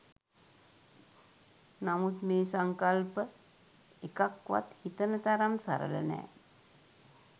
නමුත් මේ සංකල්ප එකක්වත් හිතන තරම් සරල නෑ.